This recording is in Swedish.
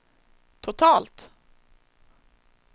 totalt